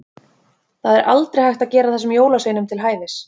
Það er aldrei hægt að gera þessum jólasveinum til hæfis.